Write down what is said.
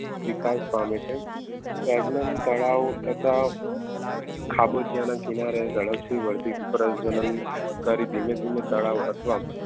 વિકાસ પામે છે સેગમન તળાવ થતા ખાબોચીયા ના કિનારે કરી ધીમે ધીમે તળાવો અથવા